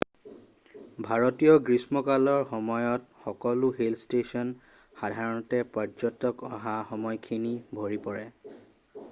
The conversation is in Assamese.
ভাৰতীয় গ্ৰীষ্মকালৰ সময়ত সকলো হিল ষ্টেচন সাধাৰণতে পৰ্যটক অহা সময়খিনি ভৰি পৰে